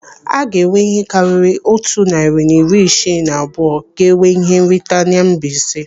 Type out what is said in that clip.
Aga enwe ihe karịrị otu narị na iri isii na abụọ ga-enwe ihe nrite na Mbaise.